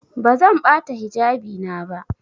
Bazan bata hijabi na ba.